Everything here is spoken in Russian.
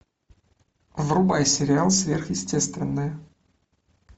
врубай сериал сверхъестественное